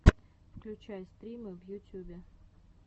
включай стримы в ютюбе